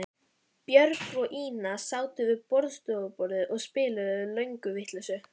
Björg og Ína sátu við borðstofuborðið og spiluðu lönguvitleysu.